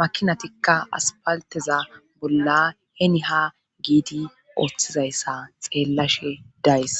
makinatikka aspalteza bolla heni ha giidi ooththizayssa xeellashe days